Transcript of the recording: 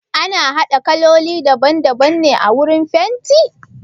Ana haɗa kaloli daban daban ne wurin fenti?